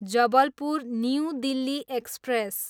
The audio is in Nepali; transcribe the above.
Jabalpur, New Delhi express